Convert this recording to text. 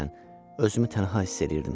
Həqiqətən özümü tənha hiss eləyirdim.